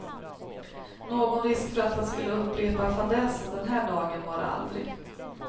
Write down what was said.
Någon risk för att han skulle upprepa fadäsen den här dagen var det aldrig.